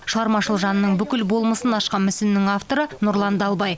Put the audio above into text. шығармашыл жанның бүкіл болмысын ашқан мүсіннің авторы нұрлан далбай